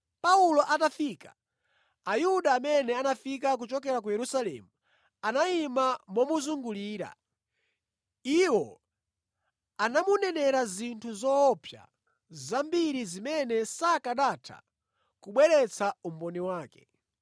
Paulo atafika, Ayuda amene anafika kuchokera ku Yerusalemu anayima momuzungulira. Iwo anamunenera zinthu zoopsa zambiri zimene sakanatha kubweretsa umboni wake.